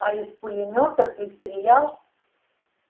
а из пулемёта ты стрелял